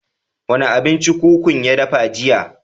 Wa ne abinci kukun ya dafa jiya?